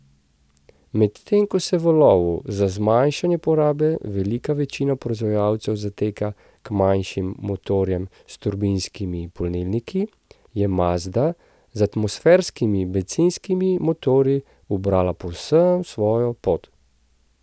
Medtem ko se v lovu za zmanjšanjem porabe velika večina proizvajalcev zateka k manjšim motorjem s turbinskimi polnilniki, je Mazda z atmosferskimi bencinskimi motorji ubrala povsem svojo pot.